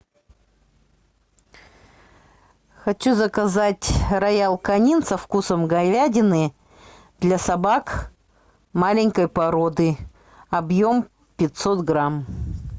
хочу заказать роял канин со вкусом говядины для собак маленькой породы объем пятьсот грамм